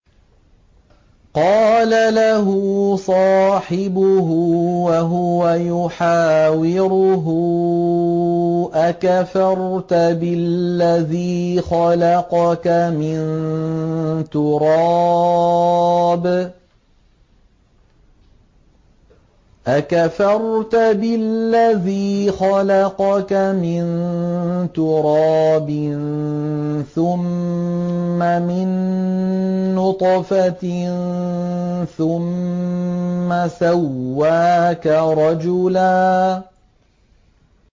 قَالَ لَهُ صَاحِبُهُ وَهُوَ يُحَاوِرُهُ أَكَفَرْتَ بِالَّذِي خَلَقَكَ مِن تُرَابٍ ثُمَّ مِن نُّطْفَةٍ ثُمَّ سَوَّاكَ رَجُلًا